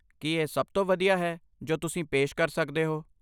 ਕੀ ਇਹ ਸਭ ਤੋਂ ਵਧੀਆ ਹੈ ਜੋ ਤੁਸੀਂ ਪੇਸ਼ ਕਰ ਸਕਦੇ ਹੋ?